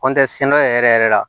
kɔntiniyesɛnɛ yɛrɛ yɛrɛ la